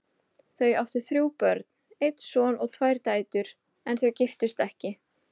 Þau áttu þrjú börn, einn son og tvær dætur, en þau giftust ekki.